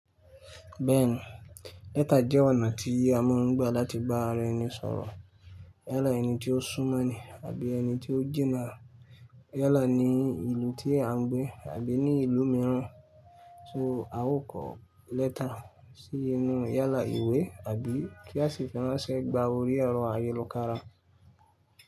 Bẹ́ẹ̀ni, lẹ́tà jẹ́ ọ̀nà tí iyì a mọ̀ ń gbà láti bá ara ẹni sọ̀rọ̀. Yálà ẹni tí ó súnmọ́ ni àbí ẹni tí ó jìnà, yálà ní ìlú tí à ń gbé àbí ní ìlú mìíràn. So, a ó kọ lẹ́tà sí ẹnu yálà ìwé àbí kí a sì fẹ́rànṣẹ́ gba orí ẹ̀rọ ayélokára?